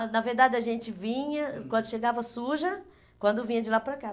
ah, na verdade a gente vinha, uhum, quando chegava suja, quando vinha de lá para cá.